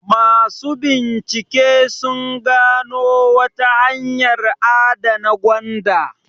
Masu bincike sun gano wata hanyar adana gwanda.